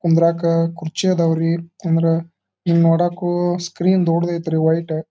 ಕುಂದ್ರಾಕ ಕುರ್ಚಿ ಆದವು ರೀ ಅಂದ್ರ ಇಲ್ಲಿ ನೋಡಕು ಸ್ಕ್ರೀನ್ ದೊಡ್ಡದ್ ಐತಿ ರೀ ವೈಟ್ --